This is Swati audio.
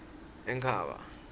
enkhaba